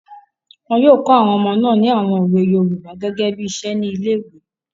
Wọn yóò kọ àwọn ọmọ náà ní àwon òwe yoòbá gẹ́gẹ́ bí iṣẹ́ ní ilé-ìwé